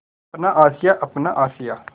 अपना आशियाँ अपना आशियाँ